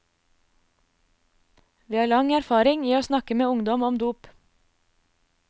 Vi har lang erfaring i å snakke med ungdom om dop.